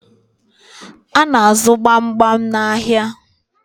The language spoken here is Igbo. A na-azụ gbamgbam n'ahịa